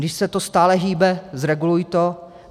Když se to stále hýbe, zreguluj to.